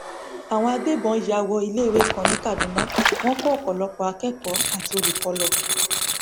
àwọn agbébọn yá wọ iléiwé kan ní kaduna wọn kó ọpọlọpọ akẹkọọ àti olùkọ lọ